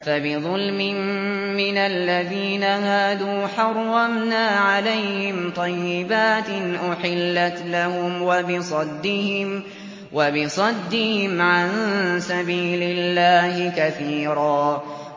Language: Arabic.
فَبِظُلْمٍ مِّنَ الَّذِينَ هَادُوا حَرَّمْنَا عَلَيْهِمْ طَيِّبَاتٍ أُحِلَّتْ لَهُمْ وَبِصَدِّهِمْ عَن سَبِيلِ اللَّهِ كَثِيرًا